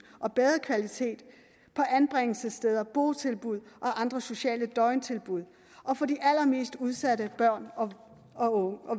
og bedre kvalitet på anbringelsessteder botilbud og andre sociale døgntilbud for de allermest udsatte børn og